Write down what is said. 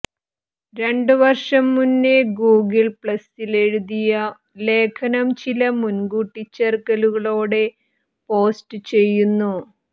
രണ്ട് വർഷം മുന്നെ ഗൂഗിൾ പ്ലസ്സിലെഴുതിയ ലേഖനം ചില കൂട്ടി ചേർക്കലുകളോടെ പോസ്റ്റ് ചെയ്യുന്നു